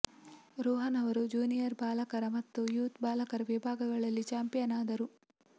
ರೋಹನ್ ಅವರು ಜೂನಿಯರ್ ಬಾಲಕರ ಮತ್ತು ಯೂತ್ ಬಾಲಕರ ವಿಭಾಗಗಳಲ್ಲಿ ಚಾಂಪಿಯನ್ ಆದರು